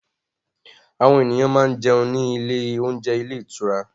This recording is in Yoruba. Àwọn ènìyàn máa ń jẹun ní ilé oúnjẹ ilé ìtura